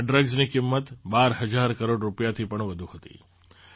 આ ડ્રગ્સની કિંમત ૧૨૦૦૦ કરોડ રૂપિયાથી પણ વધુ હતી